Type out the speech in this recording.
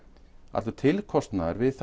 allur tilkostnaður við